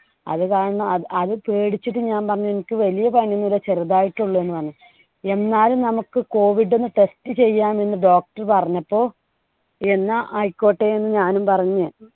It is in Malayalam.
അത് കാരണം അത് പേടിച്ചിട്ട് ഞാൻ പറഞ്ഞു എനിക്ക് വലിയ പനി ഒന്നുല്ല്യാ ചെറുതായിട്ടേ ഉള്ളൂ എന്ന് പറഞ്ഞു. എന്നാലും നമുക്ക് COVID ഒന്ന് test ചെയ്യാം എന്ന് doctor പറഞ്ഞപ്പോ എന്നാ ആയിക്കോട്ടെ എന്ന് ഞാനും പറഞ്ഞ്